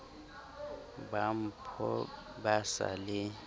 ba mpho bo sa le